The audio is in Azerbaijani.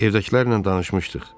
Evdəkilərlə danışmışdıq.